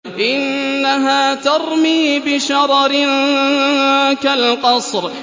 إِنَّهَا تَرْمِي بِشَرَرٍ كَالْقَصْرِ